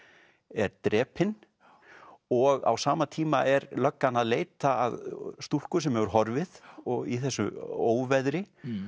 er drepinn og á sama tíma er löggan að leita að stúlku sem hefur horfið og í þessu óveðri